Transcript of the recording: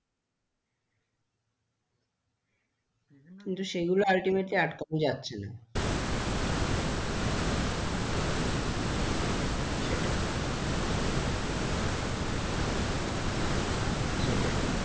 বিভিন্ন কিন্তু সেইগুলো uitimatley আটকানো যাচ্ছে না সরকারকে step নিতে হবে কাও নেবার লোক নেই না সেটাই তুমি আমি বললে নেবে টা কে? সেটাই,